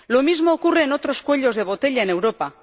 Lo mismo ocurre en otros cuellos de botella en Europa.